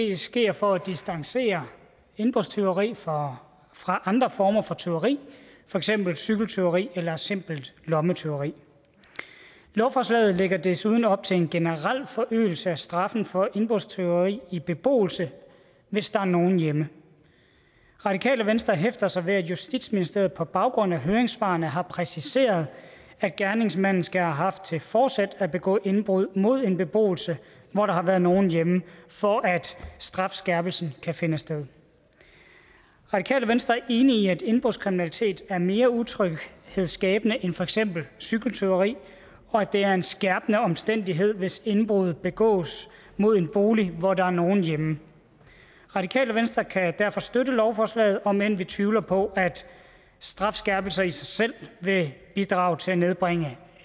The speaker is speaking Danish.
det sker for at distancere indbrudstyveri fra fra andre former for tyveri for eksempel cykeltyveri eller simpelt lommetyveri lovforslaget lægger desuden op til en generel forøgelse af straffen for indbrudstyveri i beboelse hvis der er nogen hjemme radikale venstre hæfter sig ved at justitsministeriet på baggrund af høringssvarene har præciseret at gerningsmanden skal have haft til fortsæt at begå indbrud mod en beboelse hvor der har været nogen hjemme for at strafskærpelsen kan finde sted radikale venstre er enige i at indbrudskriminalitet er mere utryghedsskabende end for eksempel cykeltyveri og at det er en skærpende omstændighed hvis indbrud begås mod en bolig hvor der er nogen hjemme radikale venstre kan derfor støtte lovforslaget om end vi tvivler på at strafskærpelser i sig selv vil bidrage til at nedbringe